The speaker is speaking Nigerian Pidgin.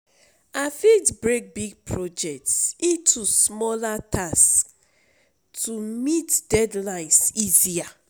I fit break big projects into smaller tasks to meet deadlines easier.